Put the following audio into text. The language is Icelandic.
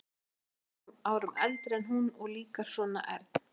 Hann er tveimur árum eldri en hún og líka svona ern.